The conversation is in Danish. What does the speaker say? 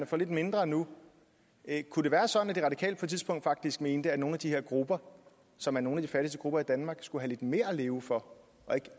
får lidt mindre nu kunne det være sådan at de radikale på et tidspunkt faktisk mente at nogle af de her grupper som er nogle af de fattigste grupper i danmark skulle have lidt mere at leve for og ikke